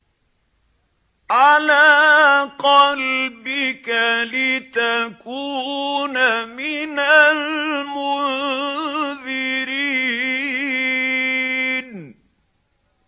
عَلَىٰ قَلْبِكَ لِتَكُونَ مِنَ الْمُنذِرِينَ